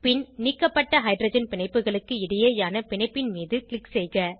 பின் நீக்கப்பட்ட ஹைட்ரஜன் பிணைப்புகளுக்கு இடையேயான பிணைப்பின் மீது க்ளிக் செய்க